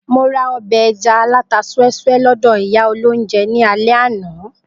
Mo ra ọbẹ̀ ẹja alata súẹ́súẹ́ lọ́dọ̀ ìyá olóunjẹ ní alẹ́ àná